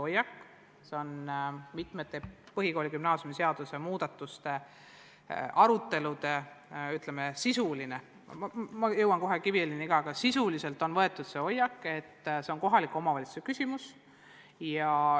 Praegu on mitmetel põhikooli- ja gümnaasiumiseaduse muudatuste aruteludel põhimõtteliselt võetud hoiak – ma jõuan kohe Kiviõlini ka –, et see on kohaliku omavalitsuse küsimus.